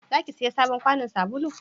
za ki saya sabon kwanon sabulu?